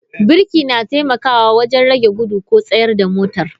Birki na taimakawa wajen rage gudu ko tsayar da motar.